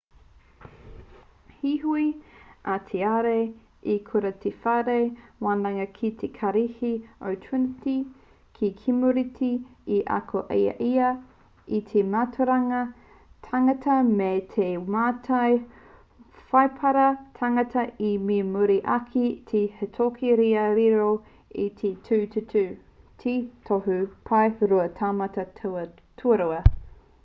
heoi a tiare i kura ki te whare wānanga ki te kārihi o trinity ki kemureti i ako ai ia i te mātauranga tangata me te mātai whaipara tangata me muri ake te hītori kia riro i te 2:2 he tohu pae rua taumata tuarua